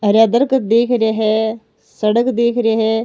हरिया दरकत दीख रे है सड़क दीख रे है।